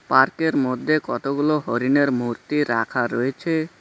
পার্কের মধ্যে কতগুলো হরিণের মূর্তি রাখা রয়েছে।